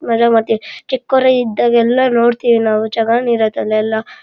ಮಜಾ ಮಾಡ್ತೀವಿ ಚಿಕ್ಕವ್ರು ಇದ್ದಾಗ ಎಲ್ಲ ನೋಡ್ತಿವಿ ನಾವು ಚೆನ್ನಾಗಿರುತ್ತೆ ಅಲ್ಲೆಲ್ಲ --